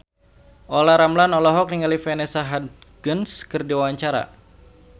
Olla Ramlan olohok ningali Vanessa Hudgens keur diwawancara